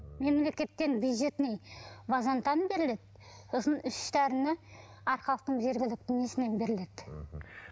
мемлекеттен бюджетный базентан беріледі сосын үш дәріні арқалықтың жергілікті несінен беріледі мхм